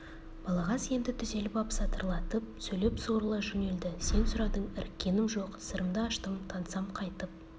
балағаз енді түзеліп ап сатырлатып сөйлеп сурыла жөнелді сен сұрадың іріккенім жоқ сырымды аштым тансам қайтіп